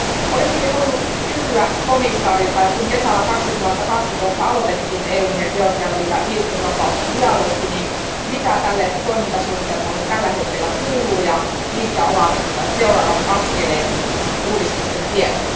Olisinkin halunnut kysyä komissaarilta, että kun kesällä 2012 aloitettiin EUn ja Georgian välillä viisumivapausdialogi, niin mitä tälle toimintasuunnitelmalle tällä hetkellä kuuluu ja mitkä ovat seuraavat askeleet uudistusten tiellä?